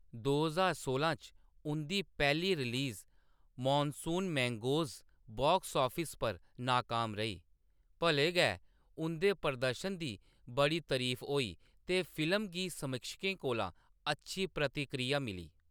दो ज्हार सोलां च, उंʼदी पैह्‌ली release, Monsoon Mangoes, box office पर नाकाम रेही, भले गै उंʼदे प्रदर्शन दी बड़ी तरीफ होई ते फिल्म गी समीक्षकें कोला अच्छी प्रतिक्रिया मिली।